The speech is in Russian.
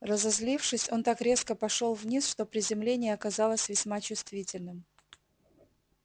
разозлившись он так резко пошёл вниз что приземление оказалось весьма чувствительным